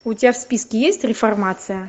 у тебя в списке есть реформация